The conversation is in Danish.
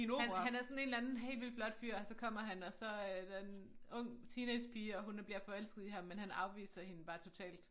Han han er sådan en eller anden helt vildt flot fyr så kommer han og så er der en ung teenagepige og hun bliver forelsket i ham men han afviser hende bare totalt